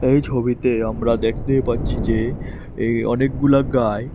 এই ছবিতে আমরা দেখতে পাচ্ছি যে এই অনেকগুলা গাই--